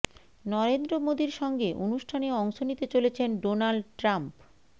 নরেন্দ্র মোদীর সঙ্গে অনুষ্ঠানে অংশ নিতে চলেছেন ডোনাল্ড ট্রাম্প